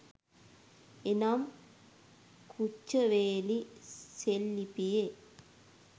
එනම් කුච්චවේලි සෙල්ලිපියේ